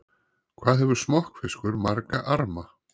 Hvað hefur smokkfiskur marga arma?